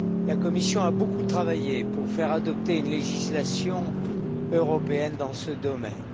La Commission a beaucoup travaillé pour faire adopter une législation européenne dans ce domaine.